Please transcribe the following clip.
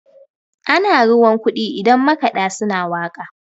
ana ruwan kudi idan makada suna waka